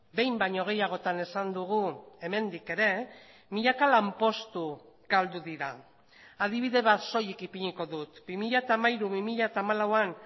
behin baino gehiagotan esan dugu hemendik ere milaka lanpostu galdu dira adibide bat soilik ipiniko dut bi mila hamairu bi mila hamalauan